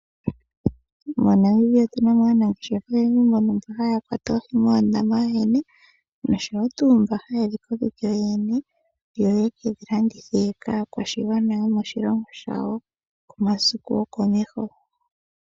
Mo Namibia otuna mo aamati oyendji, nbono haya kwata oohi noshowo tuu mba haye dhi kokeke yo yene yo yekedhi landithe kaakwashigwana yomoshilongo shayo komasiku gwokomeho.